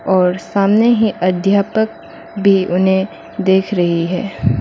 और सामने ही अध्यापक भी उन्हें देख रही हैं।